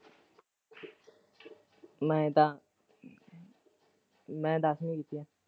ਮੈਂ ਤਾਂ ਮੈਂ ਤਾਂ ਦਸਵੀਂ ਕੀਤੀ ਹੈ।